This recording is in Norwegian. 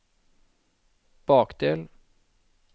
bakdel